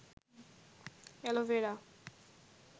aloe vera